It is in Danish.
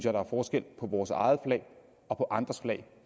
at der er forskel på vores eget flag og på andres flag